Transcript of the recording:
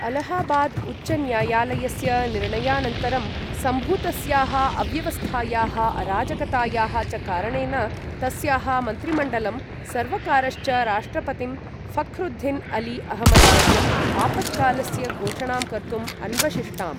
अलाहाबाद् उच्चन्यायालयस्य निर्णयानन्तरं सम्भूतस्याः अव्यवस्थायाः, अराजकतायाः च कारणेन, तस्याः मन्त्रिमण्डलं, सर्वकारश्च राष्ट्रपतिं ऴख्रुद्दीन् अली अहमद् वर्यम् आपत्कालस्य घोषणां कर्तुम् अन्वशिष्टाम्।